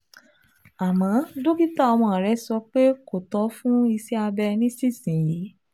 Àmọ́ dókítà ọmọ rẹ sọ pé kò tọ́ fún iṣẹ́ abẹ nísinsìnyí